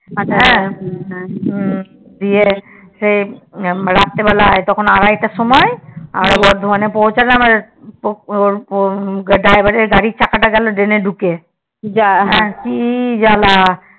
দিয়ে সেই রাত্রে বেলায় তখন আড়াইটার সময় আমরা বর্ধমানে পৌছালাম তারপরে driver এর গাড়ির চাকাটা গেল drain এ ঢুকে কি জ্বালা